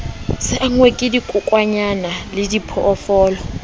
se angwe ke dikokwanyana lediphoofolo